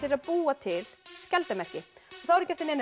að búa til skjaldarmerki þá er ekki eftir neinu